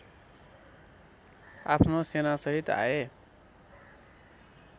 आफ्नो सेनासहित आए